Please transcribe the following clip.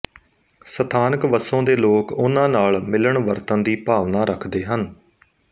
ਸਥਾਨਕ ਵਸੋਂ ਦੇ ਲੋਕ ਉਹਨਾਂ ਨਾਲ ਮਿਲਣ ਵਰਤਨ ਦੀ ਭਾਵਨਾ ਰੱਖਦੇ ਹਨ